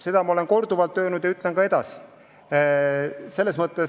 Seda ma olen korduvalt öelnud ja ütlen ka edaspidi.